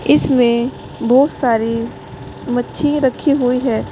इसमें बहुत सारी मच्छी रखी हुई है।